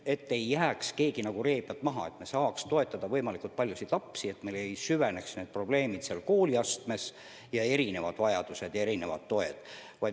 Siis ei jää keegi ree pealt maha ja me saame toetada võimalikult paljusid lapsi ja meil ei süvene probleemid selles kooliastmes.